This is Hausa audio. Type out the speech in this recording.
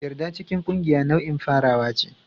Yarda cikin ƙungiya nau'in farawa ne.